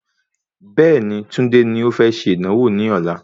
Bẹ́ẹ̀ni, Tunde ni o fẹ́ ṣe ìdánwò ní ọ̀la